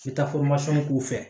k'u fɛ